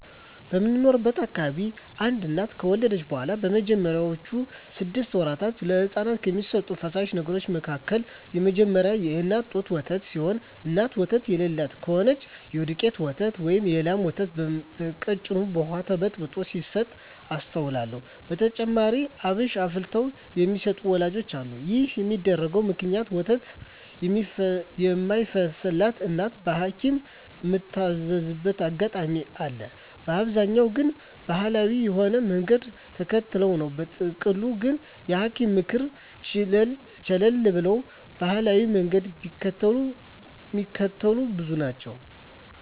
በምኖርበት አካባቢ አንድ እናት ከወለደች በኋላ በመጀመሪያወቹ ስድስት ወራት ለህጻናት ከሚሰጡ ፈሳሽ ነገሮች መካከል የመጀመሪያው የእናት ጡት ወተት ሲሆን እናት ወተት የለላት ከሆነች የዱቄት ወተት ወይም የላም ወተት በቀጭኑ በውሃ ተበርዞ ሲሰጥ አስተውላለው። በተጨማሪም አብሽ አፍልተው የሚሰጡ ወላጆችም አሉ። ይህን የሚያደርጉበት ምክንያት ወተት የማይፈስላት እናት በሀኪምም ምትታዘዝበት አጋጣሚ አለ፤ በአብዛኛው ግን ባሀላዊ የሆነውን መንገድ ተከትለው ነው። በጥቅሉ ግን የሀኪምን ምክር ቸለል ብለው ባሀላዊውን መንገድ ሚከተሉ ብዙ ናቸው።